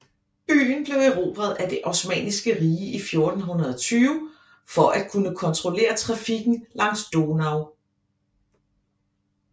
Byen blev erobret af det Osmanniske Rige i 1420 for at kunne kontrollere trafikken langs Donau